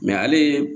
ale